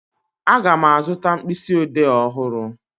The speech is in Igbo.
Aga m azụta mkpịsịodee ọhụrụ